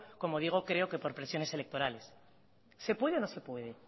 como digo creo que por presiones electorales se puede o no se puede